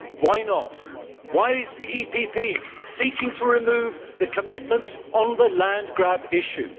Why not? Why is the EPP seeking to remove the commitments on the land grab issue?